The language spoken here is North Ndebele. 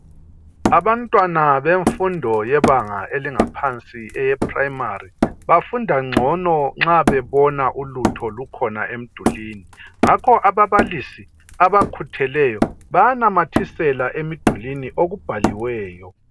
Abantwana bemfundo yebanga elingaphansi eyeprimary bafunda ngcono nxa bebona ulutho lukhona emdulini ngakho ababalisi abakhutheleyo bayanamathisela emdulwini okubhaliweyo.